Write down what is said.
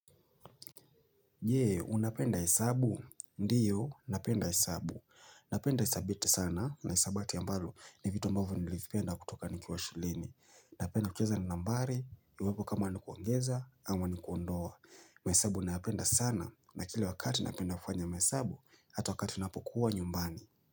Je, unapenda hesabu? Ndiyo, napenda hesabu. Napenda hisabati sana na hisabati ambalo ni vitu ambavyo nilivipenda kutoka nikiwa shuleni. Napenda kucheza na nambari, iwapo kama ni kuongeza, ama ni kuondoa. Mahesabu nayapenda sana na kila wakati napenda kufanya mahesabu, hata wakati ninapokuwa nyumbani.